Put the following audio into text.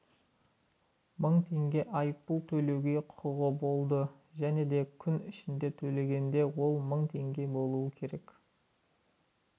мың теңге айыппұл төлеуге құқығы болды және де күн ішінде төлегенде ол мың теңге болу керек